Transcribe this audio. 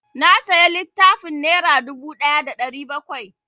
Na saya littafin nera dubu ɗaya da ɗari bakwai